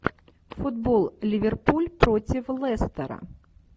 футбол ливерпуль против лестера